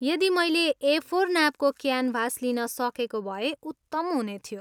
यदि मैले एफोर नापको क्यानभास लिन सकेको भए उत्तम हुनेथियो।